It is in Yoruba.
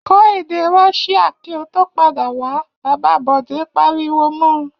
Kọ́ èdè Russia kí ó tó padà wá! Bàbá Bọ̀dé pariwo mọ.